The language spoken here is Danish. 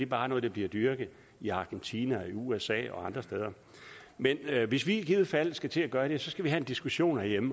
bare noget der bliver dyrket i argentina i usa og andre steder men hvis vi i givet fald skal til at gøre det skal vi have en diskussion herhjemme